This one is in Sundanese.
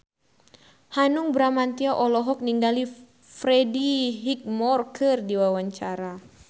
Hanung Bramantyo olohok ningali Freddie Highmore keur diwawancara